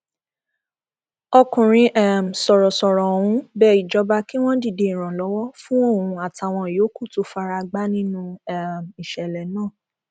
ọkùnrin um sọrọsọrọ ọhún bẹ ìjọba kí wọn dìde ìrànlọwọ fún òun àtàwọn yòókù tó fara gbá nínú um ìṣẹlẹ náà